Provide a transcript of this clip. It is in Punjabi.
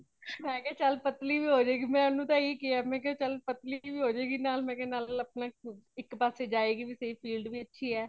ਮੈਂ ਕਿਆ ਚੱਲ ਪਤਲੀ ਵੀ ਹੋ ਜਾਏਗੀ ਮੈ ਏਨੂੰ ਤਾ ਇਹੀ ਕਿਆ ਚਾਲ ਪਤਲੀ ਵੀ ਹੋ ਜਾਏਗੀ ਨਾਲ ਨਾਲ ਅਪਣੇ ਇਕ ਪਾਸੇ ਜਾਏਗੀ ਵੀ ਤੇ field ਵੀ ਅੱਛੀ ਹੇ |